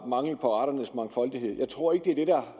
mangel på arternes mangfoldighed jeg tror ikke det er det der